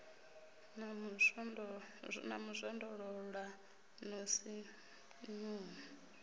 na mu zwondolola no sinvuwa